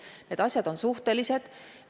Need asjad on suhtelised.